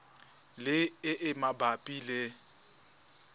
le e e mabapi le